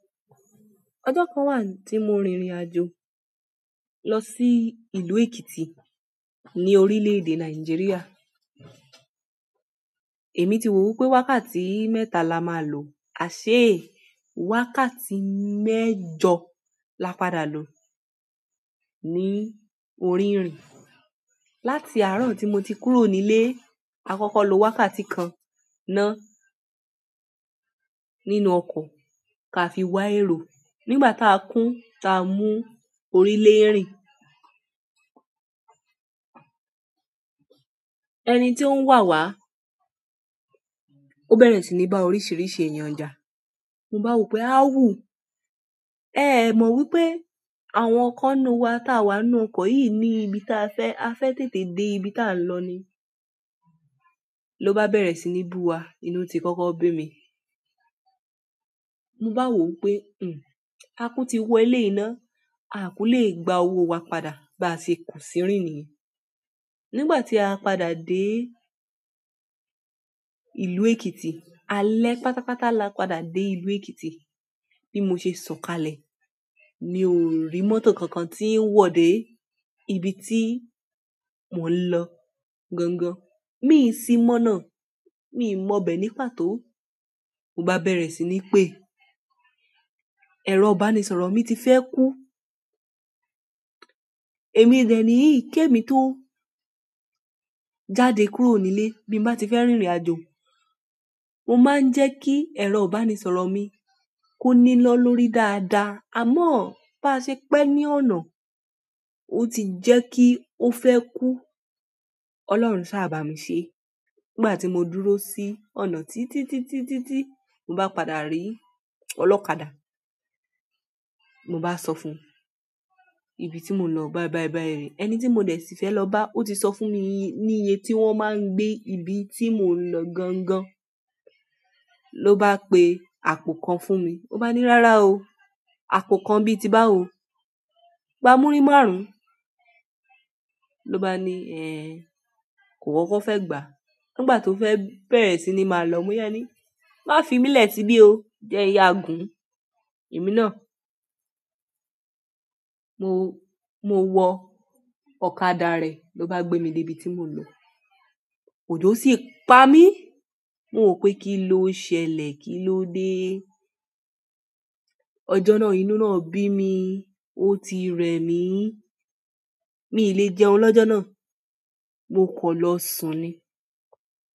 Ọjọ́ kan wà tí mo rìnrìn àjò lọ sí ìlú Èkìtì ní orílẹ̀ èdè Nàìjíríà. Èmi ti wo o wípé wákàtí mẹ́ta la máa lò, àṣée wákàtí mẹ́jọ la padà lò ní òrì irìn. Láti àárọ̀ tí mo ti kúrò nílé, à kọ́kọ́ lo wákàtí kan náà nínú ọkọ̀ ká fi wá ero nígbà táa kún, táa mú orí lérin. E ẹni tí ó ń wà wá, ó bẹ̀rẹ̀ sí ní bá oríṣìíríṣìí èèyàn jà. Mo bá wo pé, awù. Ẹ mọ wípé àwọn kan nu wa táa wá nú ọkọ̀ yíi ní ibi táa fẹ́, a fẹ́ tètè dé ibi táa ń lọ ni. Ló bá bẹ̀rẹ̀ sí ní bú wa, inú ti kọ́kọ́ bí mi. Mo bá wò o wípé, "Hmm, a kú ti wọ eleyii náà, a ku lè gba owó wa padà báa ṣe ko sìrìn niyen." Nígbà tí a padà dé ìlú Èkìtì, alẹ́ pàtápàtá la padà dé ìlú Èkìtì. Bí mo ṣe sọ̀kalẹ̀, mi ò rí mọ́tò kankan tí ń wọ̀ dé ibi tí mò ń ló gangan. Mí ì sì mọ́ná, mí ì mọbẹ̀ ní pàtó. Mo bá bẹ̀rẹ̀ sí ní pé, ẹ̀rọ ìbánisọ̀rọ̀ mi ti fẹ́ kú. Èmi dẹ̀ niyii kemi tó jáde kúrò nílé. Bí n bá ti fẹ́ rìnrìn àjò, mo máa ń jẹ́ kí ẹ̀rọ ìbánisọ̀rọ̀ mi kó nina lórí dáadáa. Àmọ́ bá ṣe pẹ́ ní ọ̀nà, ó ti jẹ́ kí ó fẹ́ kú. Ọlọ́run saá bà mí ṣe e. Nígbà tí mo dúró sí ọ̀nà títítítítítí, mo bá padà rí ọlọ́kàda. Mo bá sọ fún un, ibi tí mo ń lo bái bai bai re. Ẹni tí mo dẹ̀ sì fẹ́ lọ bá, ó ti sọ fún mi i ní iye tí wọ́n máa n gbé ibi tí mò ń lọ gangan. Ló bá pe àpò kan fún mi. Ó bá ni, "Rárá o, àpò kan bíi tí bá." o gbá múrí márùn-ún. Ló bá ni, "Ẹ̀ẹn, kò kokó fẹ́ gbà a." Nígbà tó fẹ́ bẹ̀rẹ̀ sí ní máa ló, mo yaa ní, "Má fi mílẹ̀ sibí o, jẹ n yàa gùn un." Èmi náà, mo, mo wọ ọ̀kadà rẹ̀. Ló bá gbé mi débi tí mò ń lọ. Ojò sì pa mí. Mo wò pé kí ló ṣẹlẹ̀, kí ló dé? Ọjọ́ náà, inú náà bí mi. Ó ti re mí. Mi i le jẹun lọ́jọ́ náà. Mo kọ̀ lọ sùn ni.